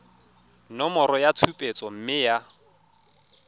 nomoro ya tshupetso mme ya